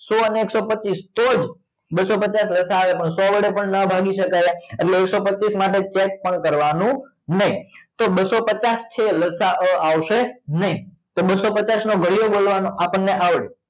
સો અને એકસો પચીસ તો જ બસસો પચાસ વર્ષ આવે લસાઅ આવે પણ સો વડે પણ ના ભાગી શકાય એટલે એકસો પચીસ માટે check પણ કરવાનું નહીં તો બસસો પચાસ લસાઅ આવશે નહીં તો બસસો પચાસ નો ઘડીયો બોલવાનો આપણને આવડે